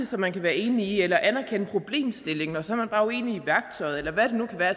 som man kan være enig i eller at anerkende problemstillingen og så er man bare uenig i værktøjet eller hvad det nu kan være